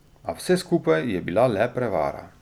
A vse skupaj je bila le prevara.